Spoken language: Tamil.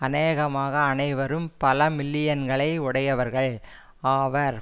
அநேகமாக அனைவரும் பல மில்லியன்களை உடையவர்கள் ஆவர்